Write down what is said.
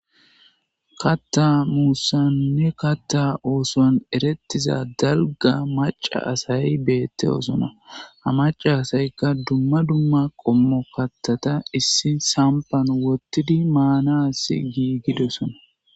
Kaththa oothuwanne kaththa muusan eretiza dalga macca asay beetoosona. Ha macca asayka dumma dumma kaththata issi samppan wothidi maanasi giigidosona.